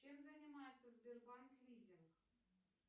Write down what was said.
чем занимается сбербанк лизинг